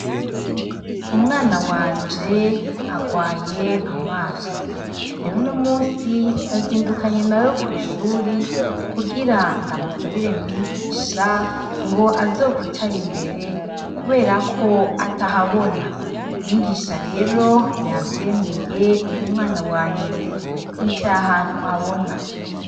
Umwana wanje arwaye amaso. Rero uno musi nazindukanye na we kw'ishuri kugira ndamusabire mwigisha ngo azokwicare imbere kubera ko atahabona. Mwigisha rero yavyemeye uwo mwana wanje yicaye ahantu abona.